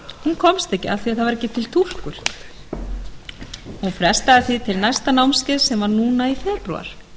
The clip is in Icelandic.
hún komst ekki af því að ekki var til túlkur hún frestaði því til næsta námskeiðs sem var núna í febrúar